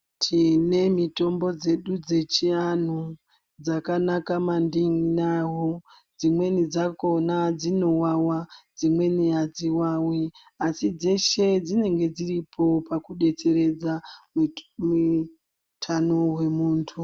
Tíne mitombo dzedu dzechianhu dzakanaka mandi wawo Dzimweni dzakhona dsinowawa dzimweni adziwawi asi dzeshe dzinenge dziripo pakudetseredza mita mii tano hwemuntu.